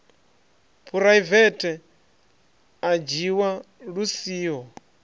phuraivethe a dzhiwa lu siho